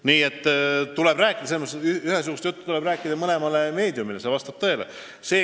Nii et kõikidele meediakanalile tuleb rääkida ühesugust juttu – see vastab tõele.